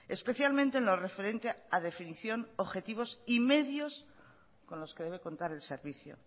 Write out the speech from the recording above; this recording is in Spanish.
especialmente en lo referente a definición objetivos y medios con los que debe contar el servicio